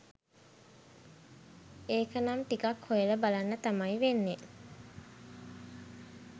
ඒකනම් ටිකක් හොයලා බලන්න තමයි වෙන්නේ